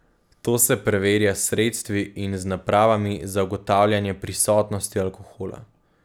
To se preverja s sredstvi in z napravami za ugotavljanje prisotnosti alkohola.